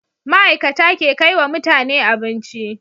ma'ikata ke kaiwa mutane abinci